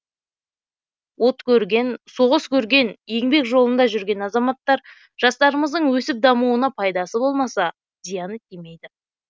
от көрген соғыс көрген еңбек жолында жүрген азаматтар жастарымыздың өсіп дамуына пайдасы болмаса зияны тимейді